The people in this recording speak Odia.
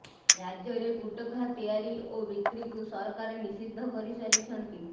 ରାଜ୍ୟରେ ଗୁଟଖା ତିଆରି ଓ ବିକ୍ରିକୁ ସରକାର ନିଷିଦ୍ଧ କରିସାରିଛନ୍ତି